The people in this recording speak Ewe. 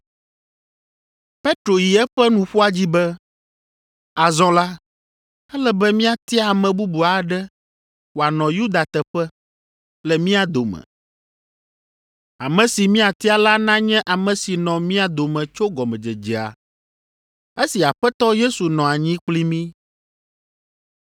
Petro yi eƒe nuƒoa dzi be, “Azɔ la, ele be míatia ame bubu aɖe wòanɔ Yuda teƒe le mía dome. Ame si míatia la nanye ame si nɔ mía dome tso gɔmedzedzea esi Aƒetɔ Yesu nɔ anyi kpli mí,